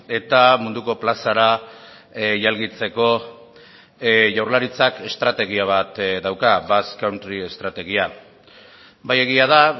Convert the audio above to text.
eta munduko plazara jalgitzeko jaurlaritzak estrategia bat dauka basque country estrategia bai egia da